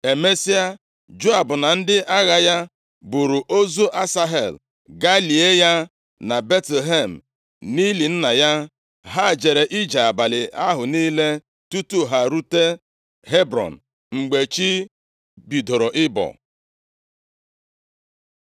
Emesịa, Joab na ndị agha ya buuru ozu Asahel gaa lie ya na Betlehem, nʼili nna ya. Ha jere ije abalị ahụ niile tutu ha erute Hebrọn mgbe chi bidoro ịbọ.